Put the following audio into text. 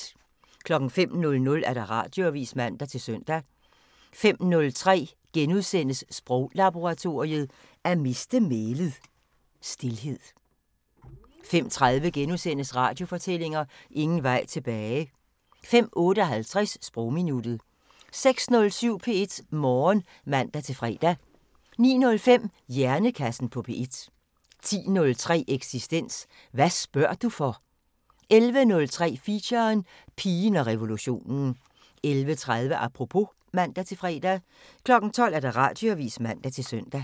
05:00: Radioavisen (man-søn) 05:03: Sproglaboratoriet: At miste mælet – Stilhed * 05:30: Radiofortællinger: Ingen vej tilbage * 05:58: Sprogminuttet 06:07: P1 Morgen (man-fre) 09:05: Hjernekassen på P1 10:03: Eksistens: Hvad spørger du for? 11:03: Feature: Pigen og revolutionen 11:30: Apropos (man-fre) 12:00: Radioavisen (man-søn)